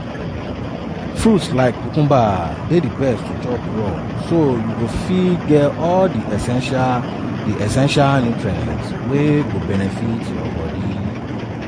"fruits like cucumber dey best to chop raw so you go fit get all di essential di essential nutrients wey go benefit your bodi.